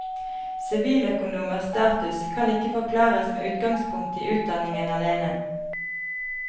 Siviløkonomers status kan ikke forklares med utgangspunkt i utdanningen alene.